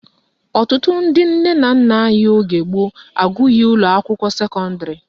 Ọtụtụ ndị nne na nna anyị oge gboo agụghị ụlọakwụkwọ sekọndịrị